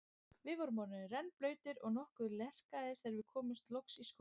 Við vorum orðnir rennblautir og nokkuð lerkaðir þegar við komumst loks í skólann.